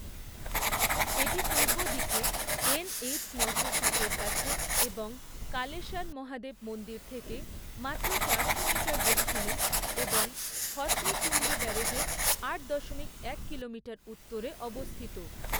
এটি পূর্ব দিকে এন.এইচ নশো সাতের কাছে এবং কালেসার মহাদেব মন্দির থেকে মাত্র চারশো মিটার দক্ষিণে এবং হথনি কুণ্ড ব্যারাজের আট দশমিক এক কিলোমিটার উত্তরে অবস্থিত।